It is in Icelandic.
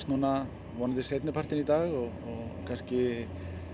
vonandi seinnipartinn í dag og kannski